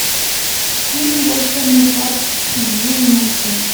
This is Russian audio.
фильм волшебный парк джун найти